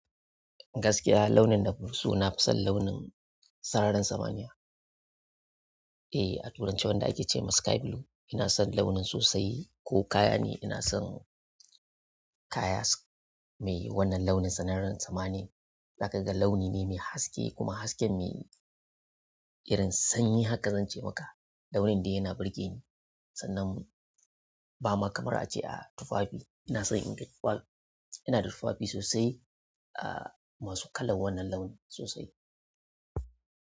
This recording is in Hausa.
Gaskiya launin da banso nafi son launin sararin samaniya. Eh, a turance wanda ake ce ma sky blue. Ina son launin sosai ko kaya ne ina son kaya mai wannan launin sararin samaniya. Saboda ga launi ne mai haske kuma haske mai irin sanyi haka zan ce maka. Launin dai yana burge ni sannan ba ma kamar a ce a tufafi. Ina son in ga tufafi. Ina da tufafi sosai, ah masu kalan wannan launin sosai.